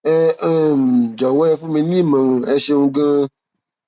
ẹ um jọwọ ẹ fún mi ní ìmọràn ẹ ṣeun ganan